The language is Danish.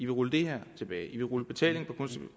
rulle det her tilbage i vil rulle betalingen